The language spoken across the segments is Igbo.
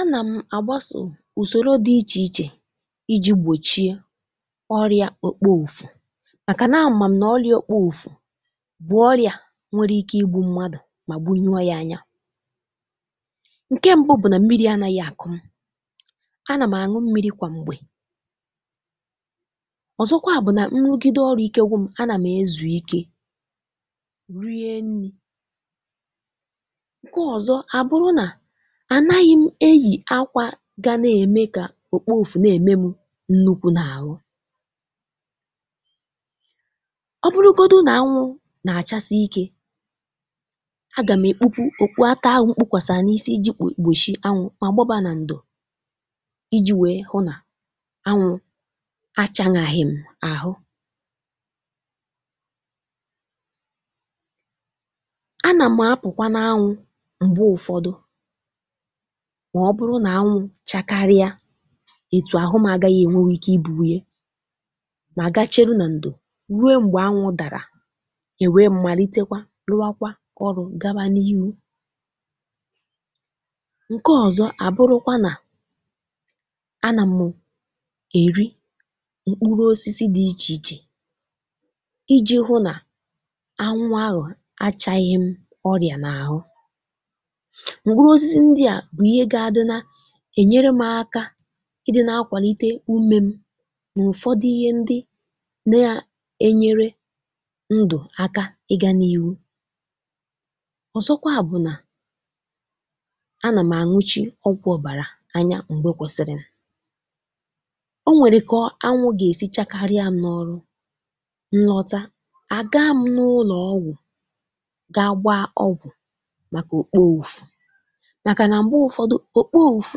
Anà m àgbasȯ ùsòro dị̇ ichè ichè iji̇ gbòchie ọrịa okpọ ùfu, màkà na-amà m nà ọrịa okpo ùfu bụ̀ ọrịa nwere ike igbu̇ mmadụ̀ mà gbunyio ya anya. Ǹkè mbụ̇ bụ̀ nà mmiri anȧghị̇ àkọ́ m, anà m̀ àṅụ mmiri kwà m̀gbè, ọ̀zọkwa bụ̀ nà nrụgide ọrụ ike gwụ̇ m anà m̀ ezù ike rie nni̇, ǹkè ọ̀zọ àbụrụ nà ànaghị̇ m eyì akwȧ gȧ na-ème kà òkpo ufu na-ème m nnukwu̇ n’àhụ. Ọ bụrụgodu nà anwụ̇ nà-àchasị ikė, a gà m ekpupu òkwuata ahụ̇ mkpụkwàsà n’isi iji̇ gbòchì anwụ̇ ma gbaba nà ǹdò iji̇ wèe hụ nà anwụ̇ achȧnaghi̇ m àhụ. A nà m apụ̀kwa n’anwụ̇ m̀gbe ụ̀fọdụ mà ọ bụrụ nà anwụ chakarịa ètù àhụ m agaghị ènwenwu ike ibùru ye, mà gachelu nà ǹdò rue m̀gbè anwụ dàrà èwè m m̀màlitekwa rụwakwa ọrụ̇ gaba n’ihu. Ǹkè ọzọ àbụrụkwa nà, anà mụ̀ èri m̀kpụrụ osisi dị ichè ichè iji̇ hụ nà anwụ ahụ̀ achaghị m ọrịà n’àhụ. Mkpụrụ osisi ndia bụ ihe ga adị na-ènyere m aka i dị na akwàlite umė m n’ụ̀fọdụ ihe ndị na-enyere ndụ̀ aka ịga n’ihụ. Ọ̀zọkwa bụ̀ nà, anà m àṅụchi ọ̀gwụ ọ̀bàrà anya m̀gbè kwẹ̀sịrị. Ọ nwèrè kọọ anwụ̇ gà-èsi chakarịa m n’ọrụ nlọta, àga m n’ụlọ̀ ọgwụ̀ ga gba ọgwụ̀ màkà òkpo ufù, maka na mgbe ụfọdụ, okpo ùfu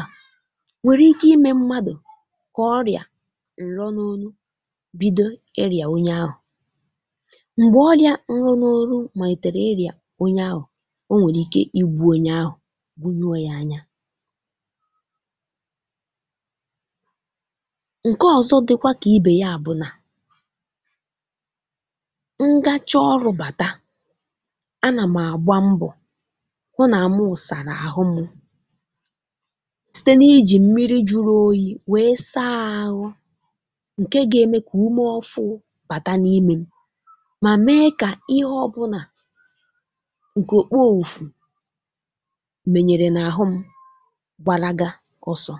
a, nwèrè ike imė mmadụ̀ kà ọrị̀à ǹro n’onu bido ịrị̀à onye ahụ̀, m̀gbè ọrị̇ȧ nro n’oru màrị̀tèrè ịrị̀à onye ahụ̀, o nwèrè ike igbu̇ onye ahụ̀ bunyuo yȧ anya. ǹkẹ ọzọ dị̀kwa kà ibè ya bụ̀ nà, ǹgachọ ọrụ̇ bàta, a nà m̀ àgba mbọ̀ hụ nà mụ̀ sàrà àhụ mụ̇ site n’ijì mmiri jùrù oyì wèe saa ȧhụ̇, ǹke ga-eme kà ume ọfụ bàta n’imė m mà mee kà ihe ọ bụ̇ nà ǹkè òkpo ùfù mènyèrè n’àhụ m gbalaga ọsọ.